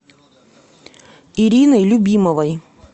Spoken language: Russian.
ирины любимовой